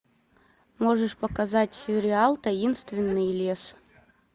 можешь показать сериал таинственный лес